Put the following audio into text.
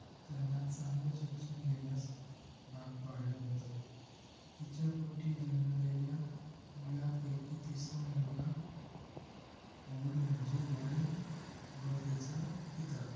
त्यांना चांगलं शिक्षण घेण्यास भाग पाडलं होत तिच्या पोटी जन्मलेल्या मुलापैकी तिसरा मुलगा ओड म्हणजे वॉरेन बफेचा पिता